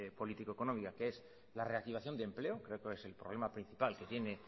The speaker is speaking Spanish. político económica que es la reactivación de empleo ver cuál es el problema principal que tiene